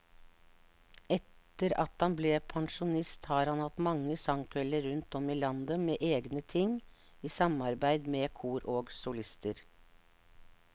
Etter at han ble pensjonist har han hatt mange sangkvelder rundt om i landet med egne ting, i samarbeid med kor og solister.